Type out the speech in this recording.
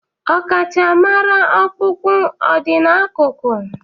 Ọkachamara ọkpụkpụ o dị n'akụkụ?